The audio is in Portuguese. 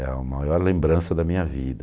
É a maior lembrança da minha vida.